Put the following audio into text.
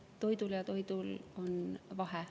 Toidul ja toidul on vahe.